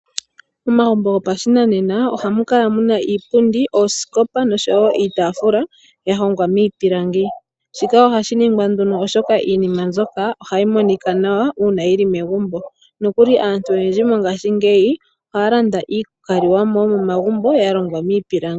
Momagumbo gopa shinanena ohamu kala muna iipundi, oosikopa nosho wo iitaafula ya hongwa miipilangi. Shika ohashi ningwa nduno oshoka iinima mbyoka ohayi monika nawa uuna yili megumbo. Nokuli aantu oyendji mongashingeyi ohaya landa iikalimo yomo magumbo ya longwa miipilangi.